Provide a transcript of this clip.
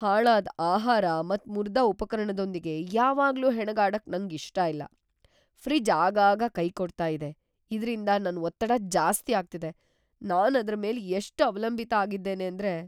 ಹಾಳಾದ್ ಆಹಾರ ಮತ್ ಮುರ್ದ ಉಪಕರಣದೊಂದಿಗೆ ಯಾವಾಗ್ಲೂ ಹೆಣಗಾಡಕ್ ನಂಗ್ ಇಷ್ಟ ಇಲ್ಲ. ಫ್ರಿಜ್ ಆಗಾಗ ಕೈ ಕೊಡ್ತಾ ಇದೆ ಇದ್ರಿಂದ ನನ್ ಒತ್ತಡ ಜಾಸ್ತಿ ಆಗ್ತಿದೆ; ನಾನ್ ಅದ್ರ ಮೇಲೆ ಎಷ್ಟ್ ಅವಲಂಬಿತ ಆಗಿದ್ದೇನೆ ಅಂದ್ರೆ